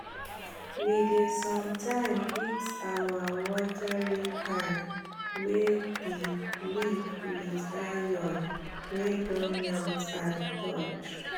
we dey sometimes fix our watering can wey d leek with iron wey don melt and torch